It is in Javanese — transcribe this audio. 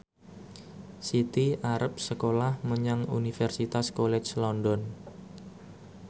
Siti arep sekolah menyang Universitas College London